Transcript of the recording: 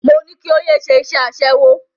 Mo ní kí o yé ṣe iṣẹ́ aṣẹ́wó.